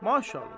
Maşallah.